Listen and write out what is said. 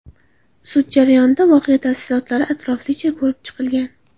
Sud jarayonida voqea tafsilotlari atroflicha ko‘rib chiqilgan.